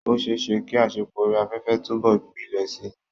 Ó ṣeé ṣe kí àṣepọ̀ orí afẹ́fẹ́ túbọ̀ gbilẹ̀ síi.